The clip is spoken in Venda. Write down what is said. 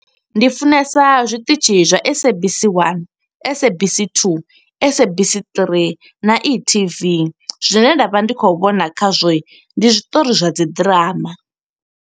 Ndi funesa zwiṱitshi zwa SABC 1 SABC 2 SABC 3 na e-TV. Zwine nda vha ndi khou vhona kha zwo, ndi zwiṱori zwa dzi ḓirama.